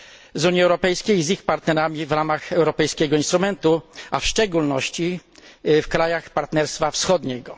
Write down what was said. z Unii Europejskiej z ich partnerami w ramach europejskiego instrumentu, a w szczególności w krajach Partnerstwa Wschodniego.